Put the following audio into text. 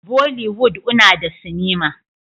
Bolliwood una da cinema